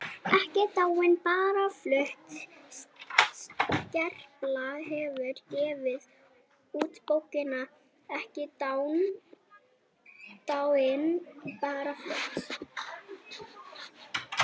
EKKI DÁIN BARA FLUTT Skerpla hefur gefið út bókina Ekki dáin- bara flutt.